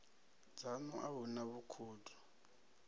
dzanu a hu na vhukhudo